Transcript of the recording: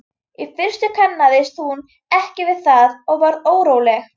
Í fyrstu kannaðist hún ekki við það og varð óróleg.